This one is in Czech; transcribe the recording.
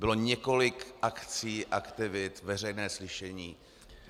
Bylo několik akcí, aktivit, veřejné slyšení.